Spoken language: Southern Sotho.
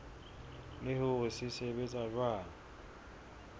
le hore se sebetsa jwang